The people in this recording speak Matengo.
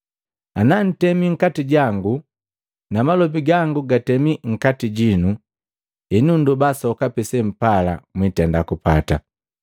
Ana ntemi nkati jangu na malobi gangu na gatemi nkati jinu, henu nndoba sokapi sempala mwitenda kupata.